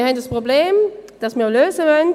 Wir haben ein Problem, das wir lösen wollen;